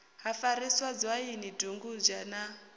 ha farisa dzwaini dugudzha na